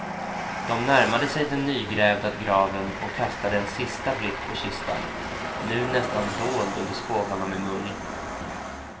De närmade sig den nygrävda graven och kastade en sista blick på kistan, nu nästan dold under skovlarna med mull.